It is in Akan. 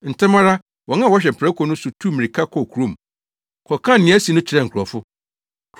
Ntɛm ara, wɔn a wɔhwɛ mprako no so no tuu mmirika kɔɔ kurom, kɔkaa nea asi no kyerɛɛ nkurɔfo.